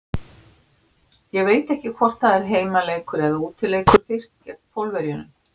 Ég veit ekki hvort það er heimaleikur eða útileikur fyrst gegn Pólverjunum.